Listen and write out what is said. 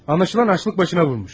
Anlaşılan aclıq başına vurmuş.